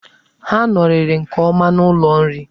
Ha nọrịrị nke ọma n'ụlọ nri.